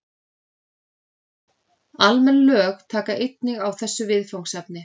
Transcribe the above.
Almenn lög taka einnig á þessu viðfangsefni.